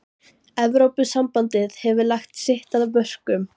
Evrópusambandið hefur lagt sitt af mörkum.